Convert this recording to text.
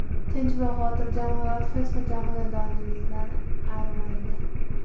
Tinch va xotirjam hayot hech qachon xonadoningizdan arimaydi!